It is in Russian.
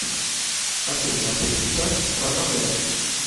хочу смотреть сейчас ранобэ